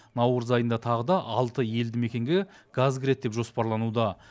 наурыз айында тағы да алты елді мекенге газ кіреді деп жоспарлануда